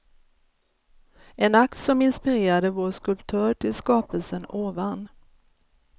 En akt som inspirerade vår skulptör till skapelsen ovan.